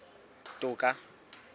toka